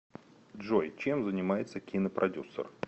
джой чем занимается кинопродюсер